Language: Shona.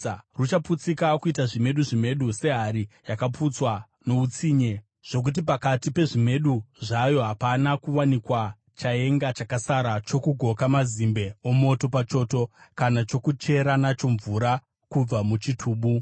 Ruchaputsika kuita zvimedu zvimedu sehari, yakaputswa noutsinye zvokuti pakati pezvimedu zvayo hapana kuwanikwa chaenga chakasara, chokugoka mazimbe omoto pachoto kana chokuchera nacho mvura kubva muchitubu.”